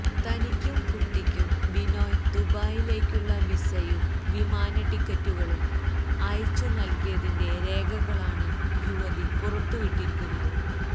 തനിക്കും കുട്ടിക്കും ബിനോയ് ദുബായിലേക്കുള്ള വിസയും വിമാനടിക്കറ്റുകളും അയച്ചു നൽകിയതിന്റെ രേഖകളാണ് യുവതി പുറത്ത് വിട്ടിരിക്കുന്നത്